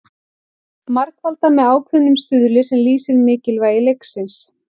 Margfaldað með ákveðnum stuðli sem lýsir mikilvægi leiksins.